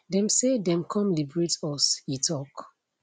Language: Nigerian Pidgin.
dem say dem come liberate us e tok